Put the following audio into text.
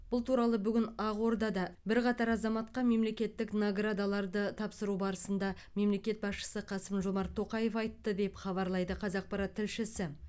бұл туралы бүгін ақордада бірқатар азаматқа мемлекеттік наградаларды тапсыру барысында мемлекет басшысы қасым жомарт тоқаев айтты деп хабарлайды қазақпарат тілшісі